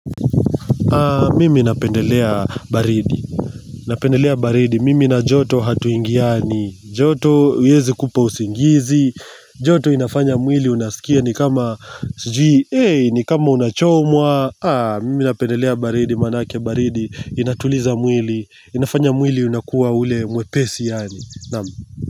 Mimi napendelea baridi, napendelea baridi, mimi na joto hatuingiani joto haiwezi kupa usingizi joto inafanya mwili unasikia ni kama Sijui, hey, ni kama unachomwa Mimi napendelea baridi, manake baridi Inatuliza mwili, inafanya mwili unakuwa ule mwepesi yaani.